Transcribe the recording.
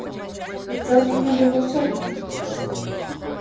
ведь сэлдон не был волшебником